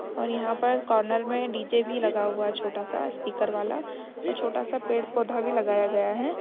और यहां पर कॉर्नर में डी.जे. भी लगा हुआ है छोटा सा स्पीकर वाला और छोटा सा पड़े-पौधा भी लगाया गया है।